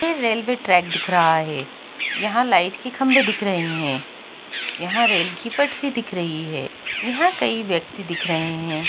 यह railway track दिख रहा है यहाँ लाइट के खम्बे दिख रहे हैं यहाँ रेल की पटरी दिख रही है यहाँ कई व्यक्ति दिख रहे हैं।